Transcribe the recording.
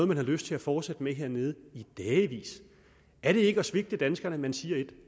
man har lyst til at fortsætte med hernede i dagevis er det ikke at svigte danskerne at man siger et